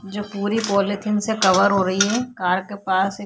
जो पूरी पॉलीथिन से कवर हो रही है कार के पास एक --